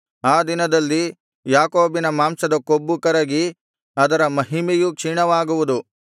ಆ ದಿನದಲ್ಲಿ ಯಾಕೋಬಿನ ಮಾಂಸದ ಕೊಬ್ಬು ಕರಗಿ ಅದರ ಮಹಿಮೆಯೂ ಕ್ಷೀಣವಾಗುವುದು